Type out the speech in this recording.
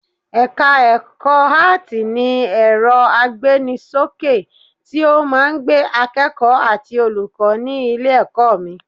Ẹ̀ka ẹ̀kọ́ Áátì ní ẹ̀rọ agbéni ṣókè tí ó máa ń gbé akẹ́kọ̀ọ́ àti olùkọ́ ní ilé-ẹ̀kọ́ mi